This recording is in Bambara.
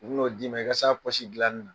U bi n'o di n'o d'i ma i ka se a pɔsi dilani na.